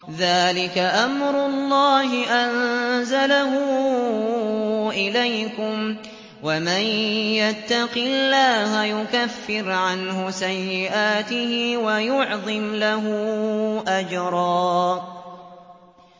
ذَٰلِكَ أَمْرُ اللَّهِ أَنزَلَهُ إِلَيْكُمْ ۚ وَمَن يَتَّقِ اللَّهَ يُكَفِّرْ عَنْهُ سَيِّئَاتِهِ وَيُعْظِمْ لَهُ أَجْرًا